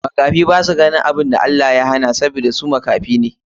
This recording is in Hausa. Makafi basa ganin abun da Ubangiji ya hana sabida su makafi ne.